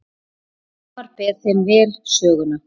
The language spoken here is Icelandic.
Hólmar ber þeim vel söguna.